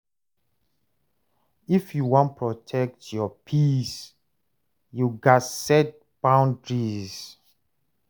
If you wan protect your peace, you gats set boundaries.